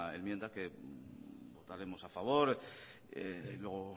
enmienda que votaremos a favor luego